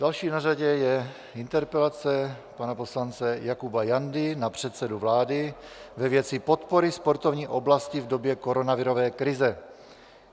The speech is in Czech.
Další na řadě je interpelace pana poslance Jakuba Jandy na předsedu vlády ve věci podpory sportovní oblasti v době koronavirové krize.